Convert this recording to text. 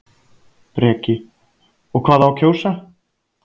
Breki: Og hvað á að kjósa?